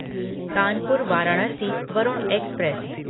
Kanpur Varanasi Varun express